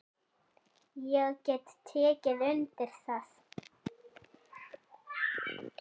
Ég get tekið undir það.